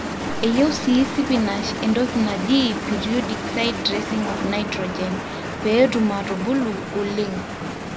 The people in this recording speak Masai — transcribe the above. eyieu sii sipinash entoki naji periodic side dressing of nitrogen pee etum aatubulu oleng